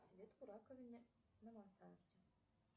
цвет в раковине на мансарде